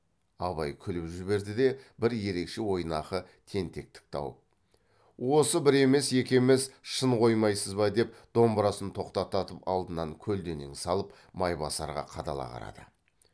абай күліп жіберді де бір ерекше ойнақы тентектік тауып осы бір емес екі емес шын қоймайсыз ба деп домбырасын тоқтататып алдына көлденең салып майбасарға қадала қарады